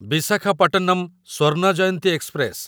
Visakhapatnam Swarna Jayanti express